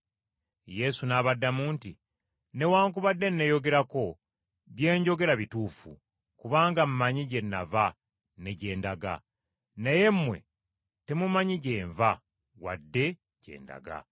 Yesu n’abaddamu nti, “Newaakubadde neeyogerako, bye njogera bituufu, kubanga mmanyi gye nava ne gye ndaga. Naye mmwe temumanyi gye nva wadde gye ndaga.